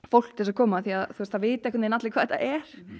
fólk til að koma því það vita veginn allir hvað þetta er